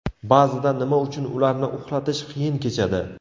Ba’zida nima uchun ularni uxlatish qiyin kechadi?